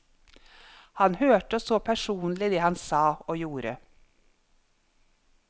Han hørte og så personlig det han sa og gjorde.